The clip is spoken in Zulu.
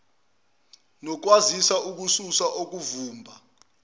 nokukwazi ukususa okuvimba